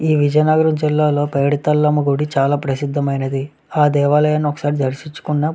ఈ విజయనగరం జిల్లాలో పైడితలమ్మ గుడి చాలా ప్రసిద్ధమైనది ఆ దేవాలయాన్ని ఒకసారి దర్శించుకున్న --